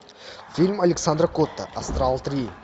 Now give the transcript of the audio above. фильм александра котта астрал три